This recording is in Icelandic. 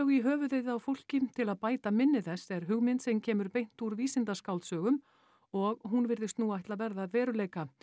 í höfuðið á fólki til að bæta minni þess er hugmynd sem kemur beint úr vísindaskáldsögum og hún virðist nú ætla að verða að veruleika